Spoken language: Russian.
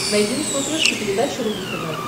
найди на смотрешке передачу рубль тв